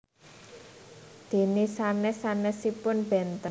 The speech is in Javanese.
Dene sanes sanesipun benten